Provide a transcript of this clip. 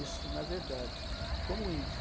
Isso, na verdade, como índio.